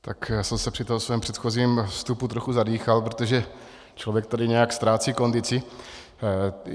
Já jsem se při tom svém předchozím vstupu trochu zadýchal, protože člověk tady nějak ztrácí kondici.